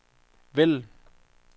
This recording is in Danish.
vælg